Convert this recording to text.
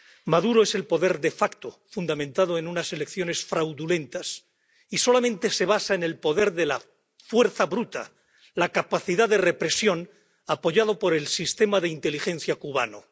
Maduro es el poder de facto fundamentado en unas elecciones fraudulentas y solamente se basa en el poder de la fuerza bruta, la capacidad de represión, apoyado por el sistema de inteligencia cubano.